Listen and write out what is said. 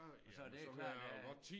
Og så det klart der er